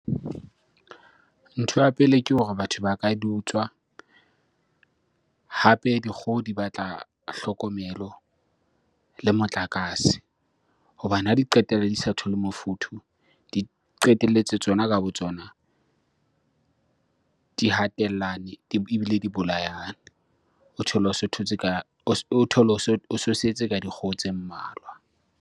Ntho ya pele ke hore batho ba ka di utswa. Hape dikgoho di batla hlokomelo le motlakase hobane ha di qetelle di sa thole mofuthu, di qetelletse tsona ka botsona di hatellane ebile di bolayane. O thole o so thotse ka o thole o so setse ka dikgoho tse mmalwa.